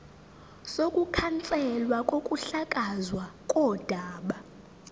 sokukhanselwa kokuhlakazwa kodaba